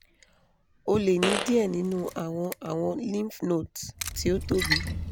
o le ni diẹ ninu awọn awọn lymphnodes ti o tobi